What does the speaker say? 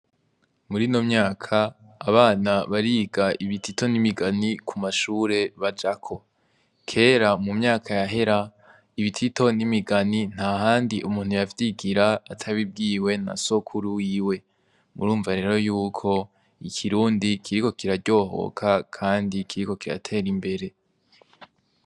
Muri no myaka abana bariga ibitito n'imigani ku mashure bajako kera mu myaka yahera ibitito n'imigani nta handi umuntu yavyigira atabibwiwe na sokuru wiwe murumva rero yuko ikirundi kiriko kiraryohoka, kandi ikiriko kiratera imbere.